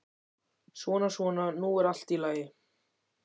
Svona, svona, nú er allt í lagi.